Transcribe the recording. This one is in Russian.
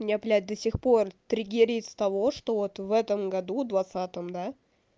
я блять до сих пор триггеред с того что вот в этом году двадцатом да